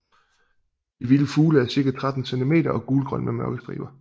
De vilde fugle er cirka 13 cm og gulgrønne med mørke striber